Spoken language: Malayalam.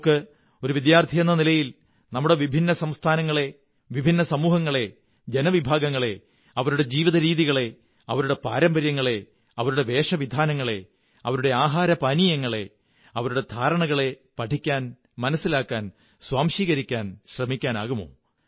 നമുക്ക് ഒരു വിദ്യാര്ഥിുയെന്ന നിലയിൽ നമ്മുടെ വിഭിന്ന സംസ്ഥാനങ്ങളെ വിഭിന്ന സമൂഹങ്ങളെ ജനവിഭാഗങ്ങളെ അവരുടെ ജീവിതരീതികളെ അവരുടെ പാരമ്പര്യങ്ങളെ അവരുടെ വേഷവിധാനങ്ങളെ അവരുടെ ആഹാരപാനീയങ്ങളെ അവരുടെ ധാരണകളെ പഠിക്കാൻ മനസ്സിലാക്കാൻ സ്വാംശീകരിക്കാൻ ശ്രമിക്കാനാകുമോ